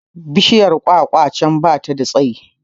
Bishiyar kwakwa can da bata da tsayi